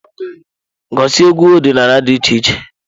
Gosi egwu ọdịnala dị iche iche.